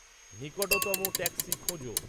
নিকটতম ট্যাক্সি খোঁজো